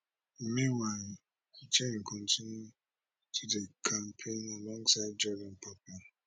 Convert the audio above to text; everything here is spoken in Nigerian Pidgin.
meanwhile jenn kontinu to dey campaign alongside jordan papa